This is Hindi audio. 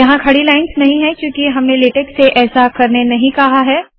यहाँ खड़ी लाइन्स नहीं है क्यूंकि हमने लेटेक से ऐसा करने नहीं कहा है